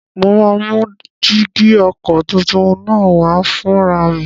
Mo máa mú jígí ọkọ̀ tuntun náà wá fúnra mi